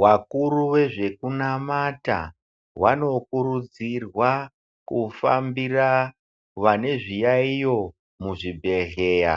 Vakuru vezvekunamata vanokurudzirwa kufambira vane zviyaiyo muzvibhedhleya.